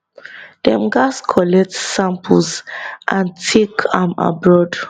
dem gatz collect samples and take am abroad